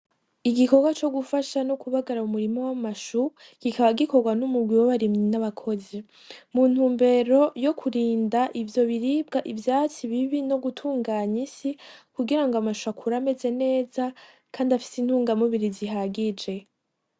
Igikogwa co gufasha no kubagara mu murima w'amashu kikaba gikogwa n'umugwi w'abarimyi n'abakozi, mu ntumbero yokurinda ivyo biribwa ivyatsi bibi nogutunganya isi kugirango amashu akure ameze neza Kandi afise intunga mubiri zihagije.